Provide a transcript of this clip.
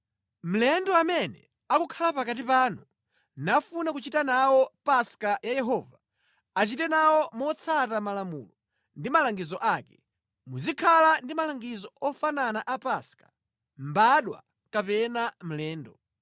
“ ‘Mlendo amene akukhala pakati panu, nafuna kuchita nawo Paska ya Yehova, achite nawo motsata malamulo ndi malangizo ake. Muzikhala ndi malangizo ofanana a Paska; mbadwa kapena mlendo.’ ”